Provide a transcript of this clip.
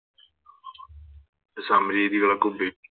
സമ രീതികൾക്കും